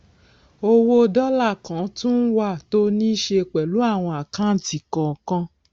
owó dọlà kan tún wà tó níí ṣe pẹlú àwọn àkáǹtì kọọkan